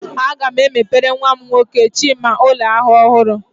Aga m emepere nwa m nwoke Chima ụlọ ahịa ọhụrụ